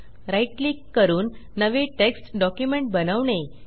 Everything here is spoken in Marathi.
राईट क्लिक करून नवे टेक्स्ट डॉक्युमेंट बनवणे